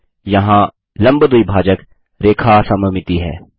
यहाँ लम्ब द्विभाजक रेखा सममिति है